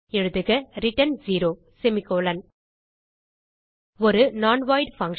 எழுதுக ரிட்டர்ன் 0 ஒரு non void function